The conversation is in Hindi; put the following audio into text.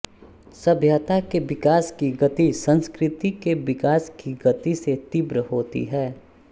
सभ्यता के विकास की गति संस्कृति के विकास की गति से तीव्र होती है